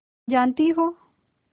जानती हो